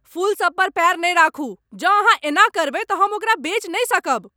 फूलसभ पर पैर नहि राखू! जौं अहाँ एना करबै तऽ हम ओकरा बेच नहि सकब!